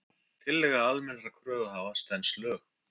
Tillaga almennra kröfuhafa stenst lög